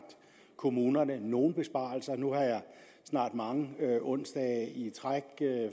kommunerne nogle besparelser nu har jeg snart mange onsdage i træk